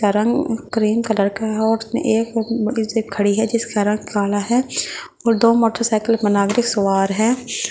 का रंग cream colour का है और एक खड़ी है जिसका रंग काला है और दो मोटरसाइकिल पर नागरिक सवार है।